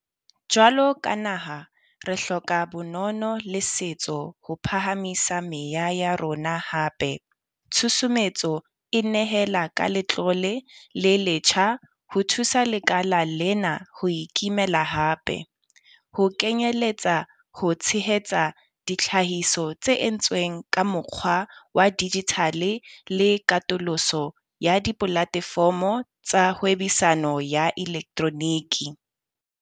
Jwalo ka naha, re hloka bonono le setso ho phahamisa meya ya rona hape. Tshusumetso e nehela ka letlole le letjha ho thusa lekala lena ho ikimela hape, ho kenyeletsa ho tshehetsa ditlhahiso tse entsweng ka mokgwa wa dijithale le katoloso ya dipolatefomo tsa hwebisano ya elektroniki.